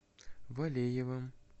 валеевым